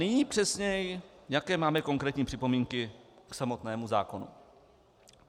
Nyní přesněji, jaké máme konkrétní připomínky k samotnému zákonu.